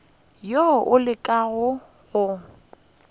wo o llago ka go